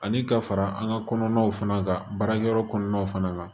Ani ka fara an ka kɔnɔnaw fana kan baarakɛyɔrɔ kɔnɔna fana na